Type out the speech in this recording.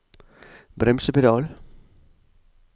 bremsepedal